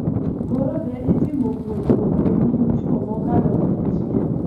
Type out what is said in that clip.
koro ne itimo puonjruok e nyim chwo mokalo mia achiel,